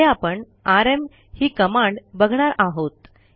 पुढे आपण आरएम ही कमांड बघणार आहोत